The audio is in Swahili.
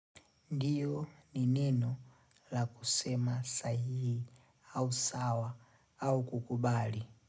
Ndiyo ni neno la kusema sahihi au sawa au kukubali?